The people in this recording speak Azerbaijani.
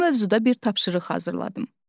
Bu mövzuda bir tapşırıq hazırladım.